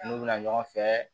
N'u bɛna ɲɔgɔn fɛ